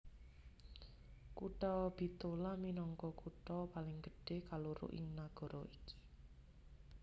Kutha Bitola minangka kutha paling gedhé kaloro ing nagara iki